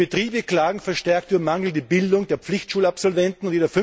Die Betriebe klagen verstärkt über mangelnde Bildung der Pflichtschulabsolventen.